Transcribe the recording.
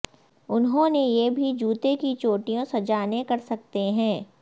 انہوں نے یہ بھی جوتے کی چوٹیوں سجانے کر سکتے ہیں